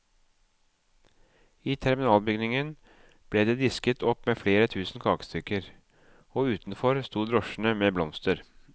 I terminalbygningen ble det disket opp med flere tusen kakestykker, og utenfor sto drosjene med blomster.